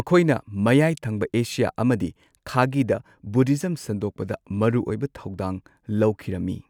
ꯃꯈꯣꯏꯅ ꯃꯌꯥꯏꯊꯪꯕ ꯑꯦꯁꯤꯌꯥ ꯑꯃꯗꯤ ꯈꯥꯒꯤꯗ ꯕꯨꯙꯤꯖꯝ ꯁꯟꯗꯣꯛꯄꯗ ꯃꯔꯨꯑꯣꯏꯕ ꯊꯧꯗꯥꯡ ꯂꯧꯈꯤꯔꯝꯃꯤ꯫